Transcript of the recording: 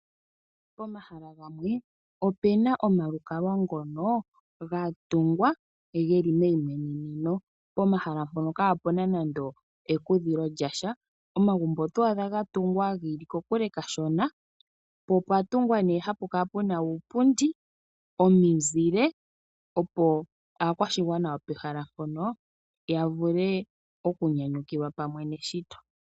Pomahala gamwe opena omalukalwa ngono gatungwa geli meyi mweneneno pomashala mpono kapena nande ekudhilo lya sha, omagumbo oto adha ga tungwa gili kokule kashona , po opwa tungwa ne hapu kala puna uupundi , omizile opo akwashigwana yopeshala mpono ya vule oku nyanyukilwa pamwe neshito